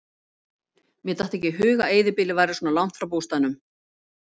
Mér datt ekki í hug að eyðibýlið væri svona langt frá bústaðnum.